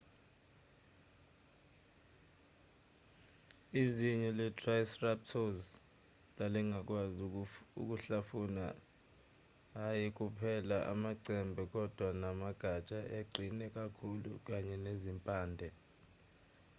izinyo le-triceratops lalingakwazi ukuhlafuna hhayi kuphela amacembe kodwa namagatsha aqine kakhulu kanye nezimpande